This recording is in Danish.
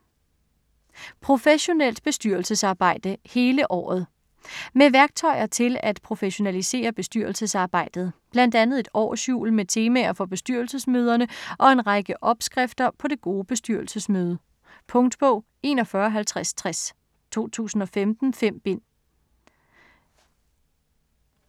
Professionelt bestyrelsesarbejde - hele året Med værktøjer til at professionalisere bestyrelsesarbejdet. Blandt andet et årshjul med temaer for bestyrelsesmøderne og en række "opskrifter" på det gode bestyrelsesmøde. Punktbog 415060 2015. 5 bind.